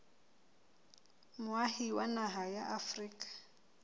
moahi wa naha ya afrika